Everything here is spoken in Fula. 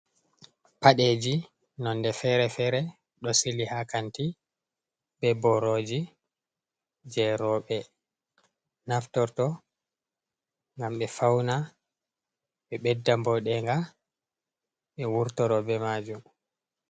Paɗeji nonɗe fere-fere. Ɗo sili ha kanti. Be boroji je robe naftorto ngam be fauna. Be beɗɗa boɗenga. Be wurtoro be majum.